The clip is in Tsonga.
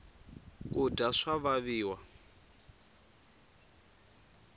kudya swa vaviwa